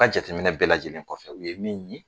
Ka jateminɛ bɛɛ lajɛlen kɔfɛ u ye min ye